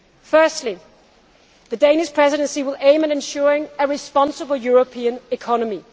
Firstly, the Danish Presidency will aim at ensuring a responsible European economy.